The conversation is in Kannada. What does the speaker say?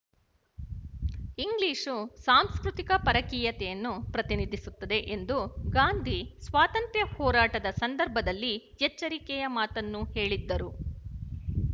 ಇಂಗ್ಲಿಶು ಸಾಂಸ್ಕೃತಿಕ ಪರಕೀಯತೆಯನ್ನು ಪ್ರತಿನಿಧಿಸುತ್ತದೆ ಎಂದು ಗಾಂಧಿ ಸ್ವಾತಂತ್ರ ಹೋರಾಟದ ಸಂದರ್ಭದಲ್ಲಿ ಎಚ್ಚರಿಕೆಯ ಮಾತನ್ನು ಹೇಳಿದ್ದರು